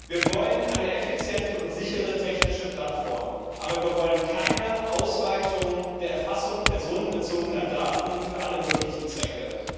Wir wollen eine effiziente und sichere technische Plattform, aber wir wollen keine Ausweitung der Erfassung personenbezogener Daten für alle möglichen Zwecke.